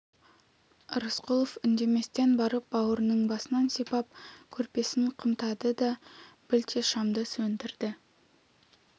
рысқұлов үндеместен барып бауырының басынан сипап көрпесін қымтады да білте шамды сөндірді